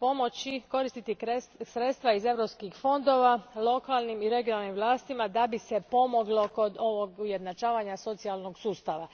pomoći koristiti sredstva iz europskih fondova lokalnim i regionalnim vlastima da bi se pomoglo kod ovog ujednačavanja socijalnog sustava.